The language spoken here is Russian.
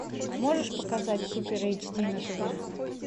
можешь показать супер эйч ди на тв